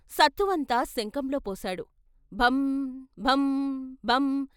సత్తువంతా శంఖంలో పోశాడు భం భం భం....